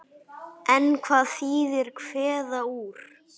En hvað þýðir kveða úr?